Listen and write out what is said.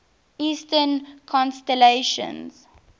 eastern constellations